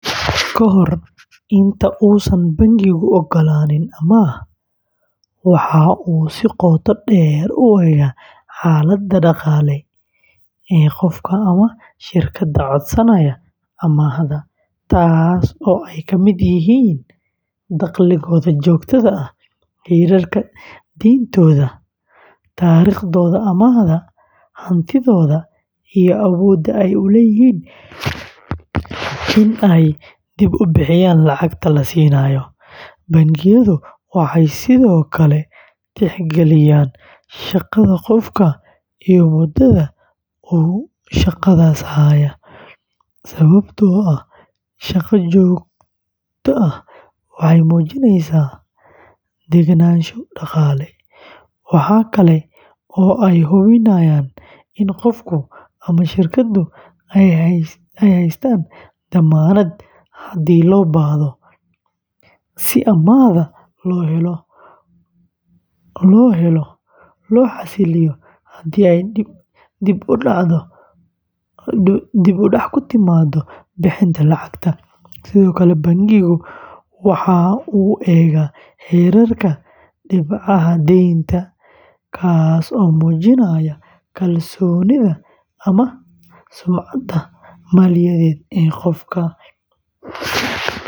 Ka hor inta uusan bangigu oggolaanin amaah, waxa uu si qoto dheer u eega xaaladda dhaqaale ee qofka ama shirkadda codsanaysa amaahda, taas oo ay kamid yihiin dakhligooda joogtada ah, heerka deyntooda, taariikhdooda amaahda, hantidooda, iyo awoodda ay u leeyihiin in ay dib u bixiyaan lacagta la siinayo. Bangiyadu waxay sidoo kale tixgeliyaan shaqada qofka iyo muddada uu shaqadaas hayay, sababtoo ah shaqo joogto ah waxay muujinaysaa degganaansho dhaqaale. Waxa kale oo ay hubiyaan in qofka ama shirkaddu ay haystaan dammaanad haddii loo baahdo, si amaahda loo helo loo xasiliyo haddii ay dib u dhac ku timaado bixinta lacagta. Sidoo kale, bangigu waxa uu eegaa heerka dhibcaha deynta, kaas oo muujinaya kalsoonida ama sumcadda maaliyadeed ee qofka.